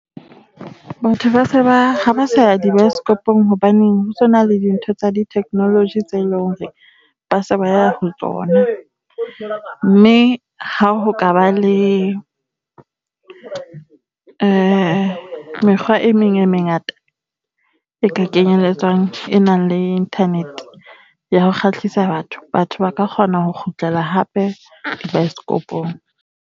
Batho ba se ha ba sa ya di-bioscope-ong hobaneng ho sona le dintho tsa di-technology tseo e leng hore ba se ba ya ho tsona, mme ha ho ka ba le mekgwa e meng e mengata e kenyelletsang e nang le internet ya ho kgahlisa batho, batho ba ka kgona ho kgutlela hape baesekopong.